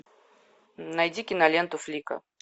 найди киноленту флика